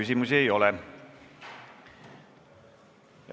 Teile küsimusi ei ole.